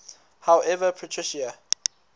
however patricia